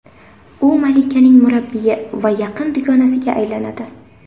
U malikaning murabbiyi va yaqin dugonasiga aylanadi.